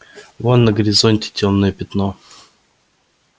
вон на горизонте тёмное пятно